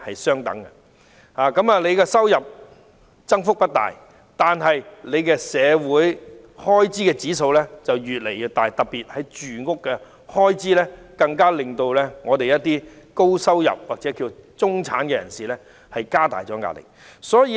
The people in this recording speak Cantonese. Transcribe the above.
市民的收入增幅不大，但社會開支卻越來越高，特別是住屋開支，令部分高收入或中產人士承受的壓力越來越大。